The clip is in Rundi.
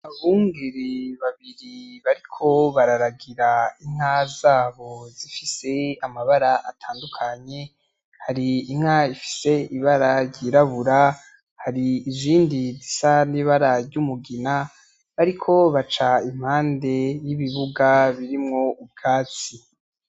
Abungeri babiri bariko bararagira inka zabo zifise amabara atandukanye hari inka ifise ibara ryirabura hari izindi zisa n'ibara ry'umugina bariko baca impande y'ibibuga birimwo ubwatsi.